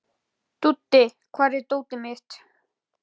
Dúddi, hvar er dótið mitt?